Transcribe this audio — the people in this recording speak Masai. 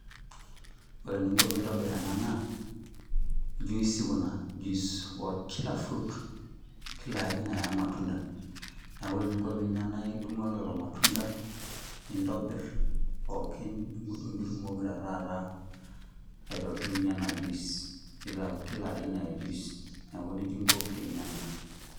Ore eninko pintobir ena naa, juicy kuna juice okila fruit. Kila aina ya matunda. Neku ore eninko pinya na idung'u ake lelo matunda, nintobir pookin, nidung'dung nitumoki ta taata aitobirunye ena juice. Nitau kila aina ya juice. Neeku nejia inko pinya ena.